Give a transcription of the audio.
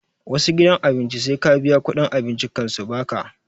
Wassu gidan abinci sai ka biya kuɗin abincin kan su baka